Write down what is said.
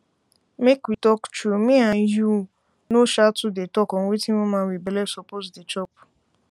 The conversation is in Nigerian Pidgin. make we talk tru me and you no um too dey talk on wetin woman wit belle suppose dey chop